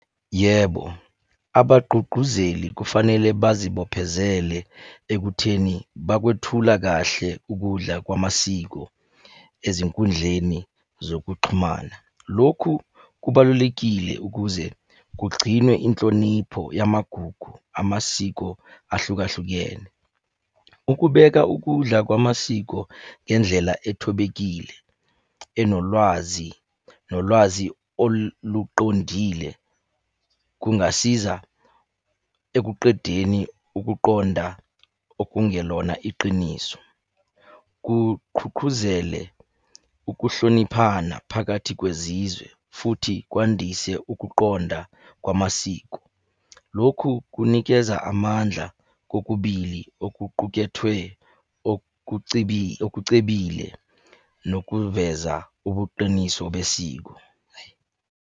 Yebo, abagqugquzeli kufanele bazibophezele ekutheni bakwethula kahle ukudla kwamasiko ezinkundleni zokuxhumana. Lokhu kubalulekile ukuze kugcinwe inhlonipho yamagugu, amasiko ahlukahlukene. Ukubeka ukudla kwamasiko ngendlela ethobekile, enolwazi, nolwazi oluqondile, kungasiza ekuqedeni ukuqonda okungelona iqiniso. Kuqhuqhuzele ukuhloniphana phakathi kwezizwe futhi kwandise ukuqonda kwamasiko. Lokhu kunikeza amandla kokubili okuqukethwe okucebile, nokuveza ubuqiniso besiko.